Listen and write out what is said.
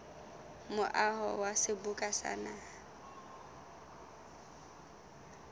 moaho wa seboka sa naha